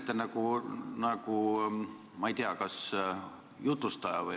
Te räägite nagu, ma ei tea, jutlustaja või ...